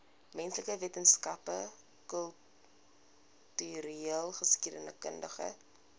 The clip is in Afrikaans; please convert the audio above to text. menslike wetenskappe kultureelgeskiedkundige